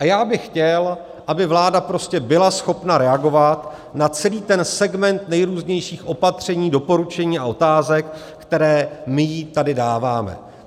A já bych chtěl, aby vláda prostě byla schopna reagovat na celý ten segment nejrůznějších opatření, doporučení a otázek, které my jí tady dáváme.